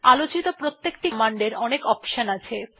আলোচিত প্রত্যেকটি কমান্ড এর অনেকগুলি অপশন আছে